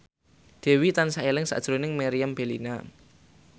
Dewi tansah eling sakjroning Meriam Bellina